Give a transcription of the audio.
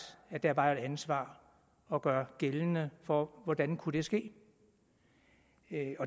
at der var et ansvar at gøre gældende for hvordan kunne det ske